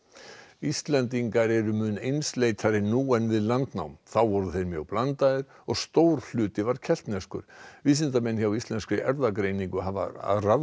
Íslendingar eru mun einsleitari nú en við landnám þeir voru mjög blandaðir og stór hluti var keltneskur vísindamenn hjá Íslenskri erfðagreiningu hafa